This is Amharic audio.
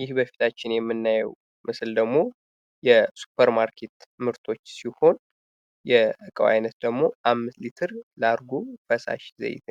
ይህ በፊታችን የምናየው ምስል ደግሞ የሱፐር ማርኬት ምርቶች ሲሆን የእቃው አይነት ደግሞ አምስት ሊትር ላርጎ ፈሳሽ ዘይት